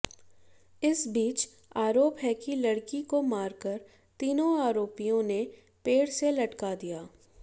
इस बीच आरोप है कि लड़की को मारकर तीनों आरोपियों ने पेड़ से लटका दिया